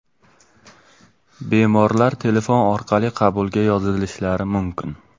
Bemorlar telefon orqali qabulga yozilishlari mumkin.